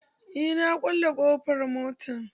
Eh, na kulle ƙofar motar